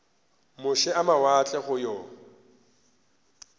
moše a mawatle go yo